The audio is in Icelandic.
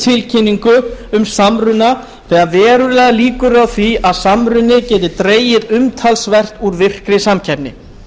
tilkynningu um samrunann þegar verulegar líkur eru á því að samruninn geti dregið umtalsvert úr virkri samkeppni